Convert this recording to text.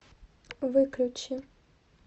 выключи